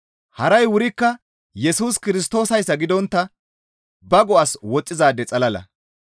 Haray wurikka Yesus Kirstoosayssa gidontta ba go7as woxxizaade xalala.